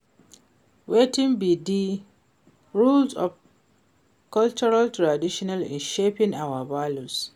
Wetin be di role of cultural tradition in shaping our values?